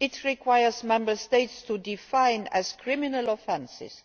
It requires Member States to define as criminal offences